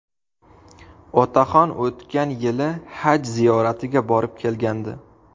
Otaxon o‘tgan yili Haj ziyoratiga borib kelgandi.